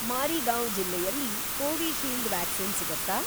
ಮಾರಿಗಾವ್ ಜಿಲ್ಲೆಯಲ್ಲಿ Covishield vaccine ಸಿಗತ್ತಾ?